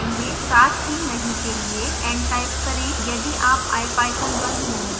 साथ ही नहीं के लिए n टाइप करें यदि आप ipython बंद नहीं करना चाहते हैं